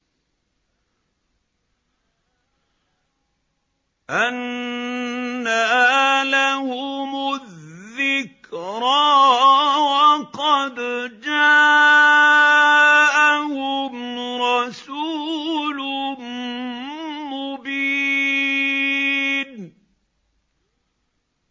أَنَّىٰ لَهُمُ الذِّكْرَىٰ وَقَدْ جَاءَهُمْ رَسُولٌ مُّبِينٌ